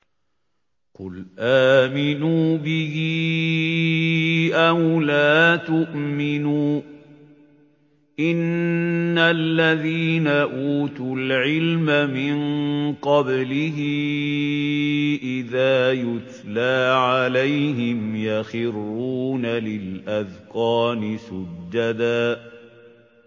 قُلْ آمِنُوا بِهِ أَوْ لَا تُؤْمِنُوا ۚ إِنَّ الَّذِينَ أُوتُوا الْعِلْمَ مِن قَبْلِهِ إِذَا يُتْلَىٰ عَلَيْهِمْ يَخِرُّونَ لِلْأَذْقَانِ سُجَّدًا